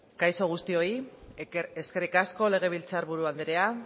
kaixo guztioi eskerrik asko legebiltzar buru andrea